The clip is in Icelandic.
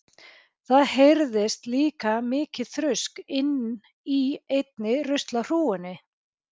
Það heyrðist líka mikið þrusk inni í einni ruslahrúgunni.